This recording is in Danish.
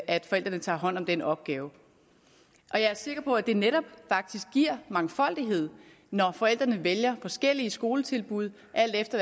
at forældrene tager hånd om den opgave jeg er sikker på at det netop faktisk giver mangfoldighed når forældrene vælger forskellige skoletilbud alt efter